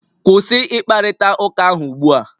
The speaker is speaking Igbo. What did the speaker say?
Kwụsị ịkparịta ụka ahụ ugbu a!